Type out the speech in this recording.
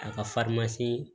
A ka